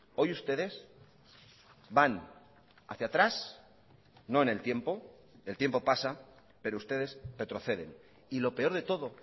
hoy ustedes van hacia atrás no en el tiempo el tiempo pasa pero ustedes retroceden y lo peor de todo